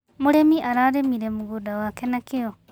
Mũrĩmi ararĩmire mũgũnda wake na kĩo.